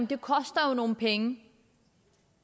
det koster nogle penge